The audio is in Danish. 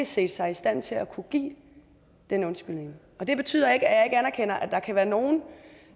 set sig i stand til at kunne give den undskyldning det betyder ikke at anerkender at der kan være nogle